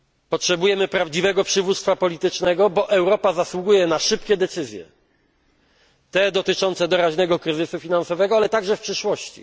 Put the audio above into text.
Potrzebujemy prawdziwego przywództwa politycznego, gdyż Europa zasługuje na szybkie decyzje te dotyczące doraźnego kryzysu finansowego, ale także dotyczące przyszłości.